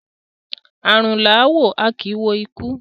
Arun la a wo, a ki i wo iku